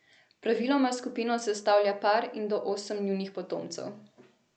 Praviloma skupino sestavlja par in do osem njunih potomcev.